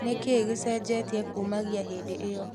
Nĩkĩĩ gĩcejetia kũmagia hĩndĩ ĩo?